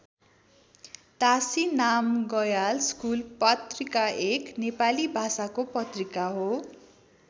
तासी Namgyal school पत्रिका एक नेपाली भाषाको पत्रिका हो।